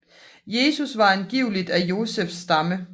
Jesus var angiveligt af Josefs stamme